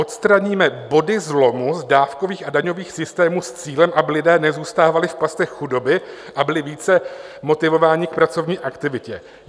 "Odstraníme body zlomu z dávkových a daňových systémů s cílem, aby lidé nezůstávali v pastech chudoby a byli více motivováni k pracovní aktivitě"?